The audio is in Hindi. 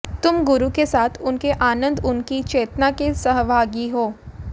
तुम गुरु के साथ उनके आनंद उनकी चेतना के सहभागी हो